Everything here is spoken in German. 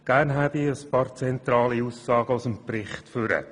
Gerne hebe ich ein paar zentrale Aussagen aus dem Bericht hervor: